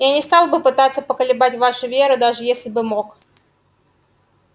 я не стал бы пытаться поколебать вашу веру даже если бы мог